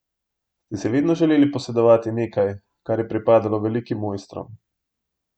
Ste si vedno želeli posedovati nekaj, kar je pripadalo velikim mojstrom?